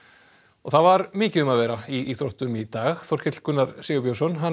það var mikið um að vera í íþróttum í dag Þorkell Gunnar Sigurbjörnsson